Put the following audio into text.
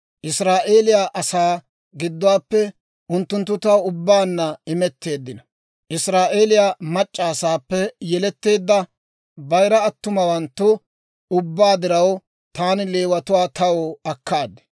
Israa'eeliyaa asaa gidduwaappe unttunttu taw ubbaanna imetteeddino; Israa'eeliyaa mac'c'a asaappe yeletteedda bayira attumawanttu ubbaa diraw taani Leewatuwaa taw akkaad.